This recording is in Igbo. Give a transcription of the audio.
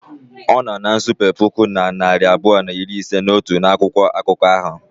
Ọnọ na nsape puku na narị abụọ na iri ise na otu n'akwụkwọ akụkọ ahụ.